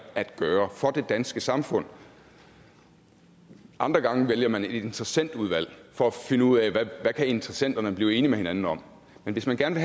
at gøre for det danske samfund andre gange vælger man et interessentudvalg for at finde ud af hvad interessenterne kan blive enige med hinanden om men hvis man gerne